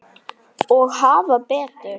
Og hafa betur.